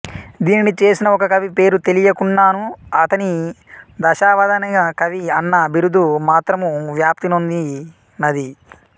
దీనిని చేసిన ఒకకవి పేరు తెలియకున్నను ఆతని దశావధానకవి అన్న బిరుదు మాత్రము వ్యాప్తినొందినది